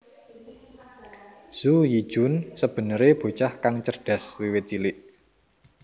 Zhu Yijun sebenere bocah kang cerdas wiwit cilik